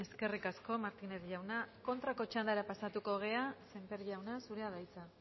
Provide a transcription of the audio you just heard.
eskerrik asko martínez jauna kontrako txandara pasatuko gera sémper jauna zurea da hitza